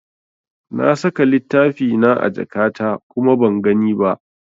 Na saka littafina a jakata kuma ban gani ba.